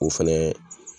O fɛnɛ